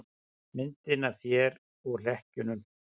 Myndina af þér og hlekkjunum.